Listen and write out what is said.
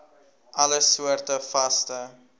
alle soorte vaste